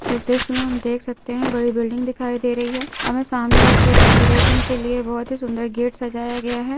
इस दृस्य में हम देख सकते हैं बड़ी बिल्डिंग दिखाई दे रही है हमें सामने एक डेकोरेशन के लिए बहुत ही सुंदर गेट सजाया गया है।